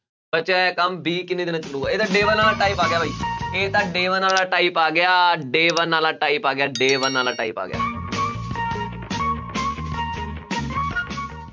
ਬਚਿਆ ਹੋਇਆ ਕੰਮ b ਕਿੰਨੇ ਦਿਨਾਂ 'ਚ ਕਰੇਗਾ ਇਹ ਤਾਂ day one ਵਾਲਾ type ਆ ਗਿਆ ਬਾਈ ਇਹ ਤਾਂ day one ਵਾਲਾ type ਆ ਗਿਆ day one ਵਾਲਾ type ਆ ਗਿਆ day one ਵਾਲਾ type ਆ ਗਿਆ